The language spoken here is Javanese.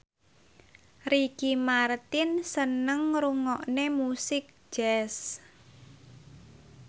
Ricky Martin seneng ngrungokne musik jazz